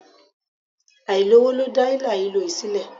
Àìsówó ló dá hílàhílo yìí sílẹ̀.